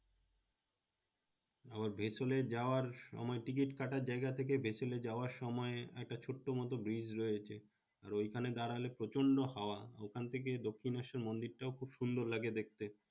আবার vessel এ যাওয়ার সময় টিকিট কাটার জায়গা থেকে vessel এ যাওয়ার সময় একটা ছোট্ট মতো bridge রয়েছে, তো ওইখানে দাঁড়ালে প্রচন্ড হওয়া। ওখানে থেকে দক্ষিনেশ্বর মন্দির টাও খুব সুন্দর লাগে দেখতে।